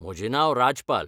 म्हजें नांव राजपाल.